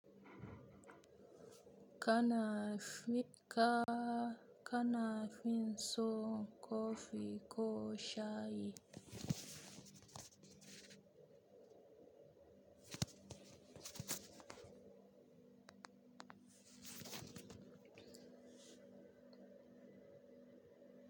Ka Kana fin so kofi ko shayi?